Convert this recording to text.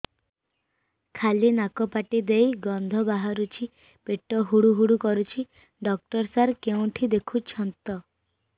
ଖାଲି ନାକ ପାଟି ଦେଇ ଗଂଧ ବାହାରୁଛି ପେଟ ହୁଡ଼ୁ ହୁଡ଼ୁ କରୁଛି ଡକ୍ଟର ସାର କେଉଁଠି ଦେଖୁଛନ୍ତ